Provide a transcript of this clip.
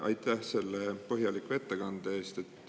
Aitäh selle põhjaliku ettekande eest!